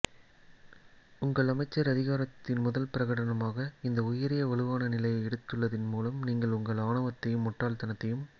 உங்கள் அமைச்சர் அதிகாரத்தின் முதல் பிரகடனமாக இந்த உயரிய வலுவான நிலையை எடுத்துள்ளதின் மூலம் நீங்கள் உங்கள் ஆணவத்தையும் முட்டாள்தனத்தையும்